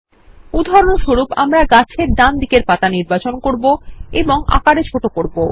উদাহরণস্বরূপ আমরা গাছের ডান দিকের পাতা নির্বাচন করবো এবং আকার হ্রাস করবো